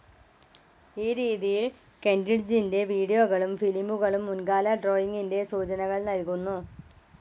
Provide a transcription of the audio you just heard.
ഈ രീതിയിൽ, കെൻറിഡ്ജിന്റെ വീഡിയോകളും ഫിലിമുകളും മുൻകാല ഡ്രോയിങ്ങിന്റെ സൂചനകൾ നൽകുന്നു.